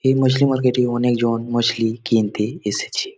এই মছলি মার্কেট -এ অনেকজন মছলি কিনতে এসেছে ।